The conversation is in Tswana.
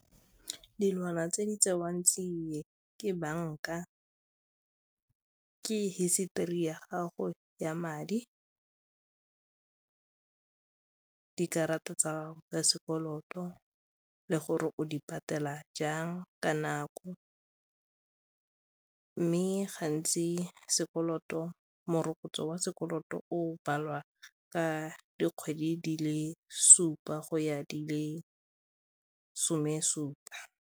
Dilwana tse di tseiwang tseo ke banka, ke hisetori ya gago ya madi, dikarata tsa sekoloto le gore o di patela jang ka nako mme gantsi morokotso wa sekoloto o baliwa ka dikgwedi di le supa go ya di le some supa.